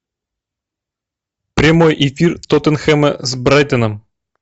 прямой эфир тоттенхэма с брайтоном